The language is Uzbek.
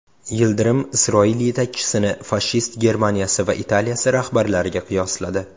Yildirim Isroil yetakchisini fashist Germaniyasi va Italiyasi rahbarlariga qiyosladi.